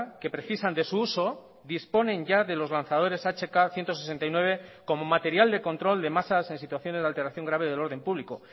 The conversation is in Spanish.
que precisan de su uso disponen ya de los lanzadores hk ciento sesenta y nueve como material de control de masas en situaciones de alteración grave del orden público